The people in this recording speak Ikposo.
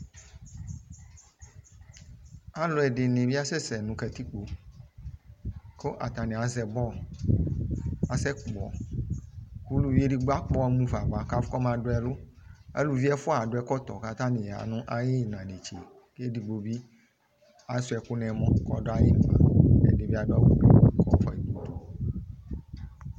Aluɛ1de ne asɛsɛ no katikpoko atane azɛ bɔ kasɛ kpɔ Aluvi edigbo akpɔ mu fa ava kɔma do ɛlu Aluvi ɛfua ɛfua ado ɛkɔtɔ ko atane ya no ayena netse ko edigbo asua ɛku no ɛmɔ ko ɔdo ayemla Ade be ado awu ko ɔfuae no udu